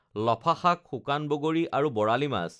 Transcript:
লফা শাক শুকান বগৰী আৰু বৰালি মাছ